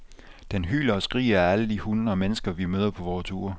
Den hyler og skriger af alle de hunde og mennesker, vi møder på vore ture.